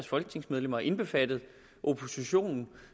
folketingsmedlemmer indbefattet oppositionen